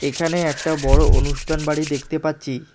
এখানে একটা বড়ো অনুষ্ঠান বাড়ি দেখতে পাচ্ছি।